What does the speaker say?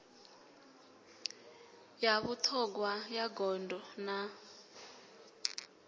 ya vhuṱhogwa ya gondo na